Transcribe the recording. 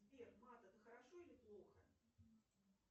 сбер мат это хорошо или плохо